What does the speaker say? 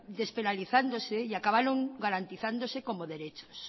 despenalizándose y acabaron garantizándose como derechos